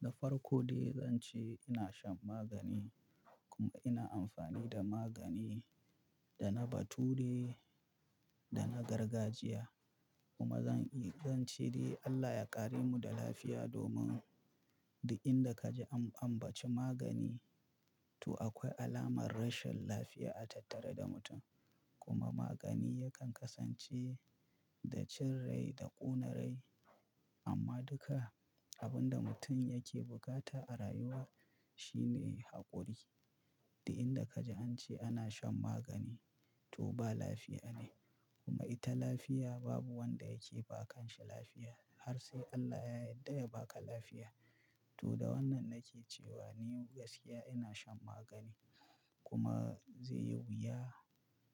Da farko dai zan ce ina shan magani kuma ina amfani da magani da na bature da na gargajiya kuma zan yi, zan ce dai Allah ya ƙare mu da lafiya domin da inda kaji an, an baci magani to akwai alamar rashin lafiya a tattare da mutum. Kuma magani yakan kasance da cin rai da kona rai amma duka abinda mutum yake bukata a rayuwa shune hakuri Dalu inda kaji an ce ana shan magani to ba lafiya ne kuma ita lafiya babu wanda yake ba kashi lafiya har sai Allah ya yarda ya baka lafiya. To da wannan nake cewa ni gaskiya ina shan magani kuma zai yiwu ya,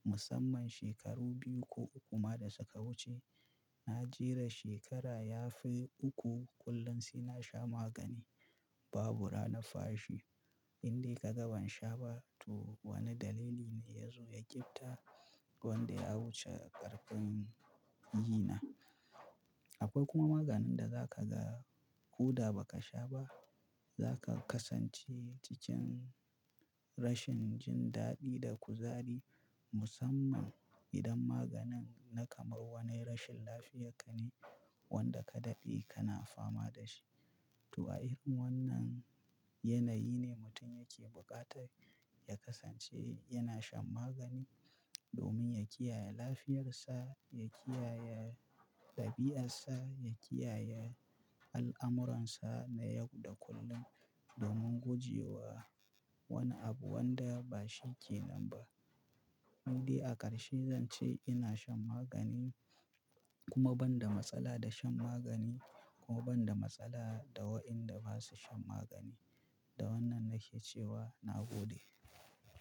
musamman shekaru biyu ko uku ma da suka wuce, na jera shekara ya fi uku kullum suna sha magani babu ranar fashi. Indai ka ga ban sha ba to wane dalili ne ya zo ya gitta wanda ya wuce ƙarfin gina. Akwai kuma maganin da zaka ga koda baka sha ba zaka kasance cikin rashin jin daɗi da kuzari musamman idan maganin na kamar wani rashin lafiya rka ne wanda ka ɗade ka na fama da shi. To a irin wannan yanayi ne mutum yake bukata ya kasance yana shan magani domin ya kiyaye lafiyarsa, ya kiyaye ɗabi'arsa, ya kiyaye al'amuransa na yau da kullum domin guje wa wani abu wanda ba shi ke nan ba. Indai a ƙarshe zan ce ina shan magani kuma banda da shan magami, kuma banda matsala da wadanda basu shan magani. Da wannan nake cewa na gode.